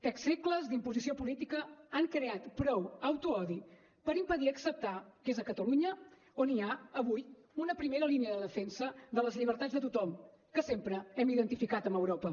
tres segles d’imposició política han creat prou autoodi per impedir acceptar que és a catalunya on hi ha avui una primera línia de defensa de les llibertats de tothom que sempre hem identificat amb europa